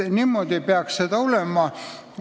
Niimoodi peaks see olema.